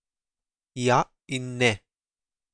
Ja in ne.